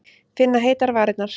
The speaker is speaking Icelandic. Finna heitar varirnar.